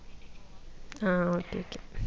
ആ okay okay